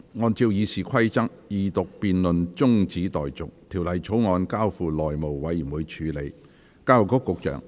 按照《議事規則》，二讀辯論中止待續，《條例草案》交付內務委員會處理。